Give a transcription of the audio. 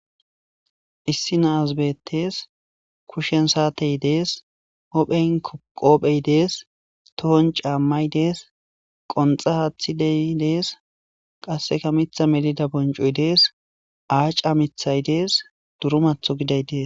Issi naasbetees kushshen saatey dees hophen koqoophey dees tohon caammay dees qonxa haathidey dees qasseka mitha melida boncoy dees aaca mithay dees duru matho giday dees